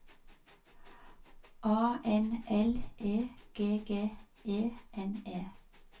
A N L E G G E N E